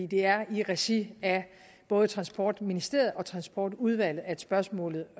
det er i regi af både transportministeriet og transportudvalget at spørgsmålet